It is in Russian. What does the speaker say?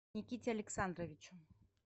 никите александровичу